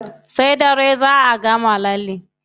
Sai dare zá a gama lallen.